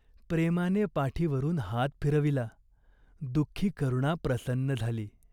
प्रेमाने पाठीवरून हात फिरविला. दुःखी करुणा प्रसन्न झाली.